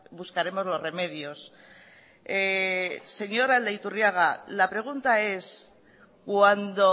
buscaremos los remedios señor aldaiturriaga la pregunta es cuando